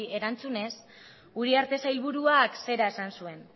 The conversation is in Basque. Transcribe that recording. erantzunez uriarte sailburuak zera esan zuen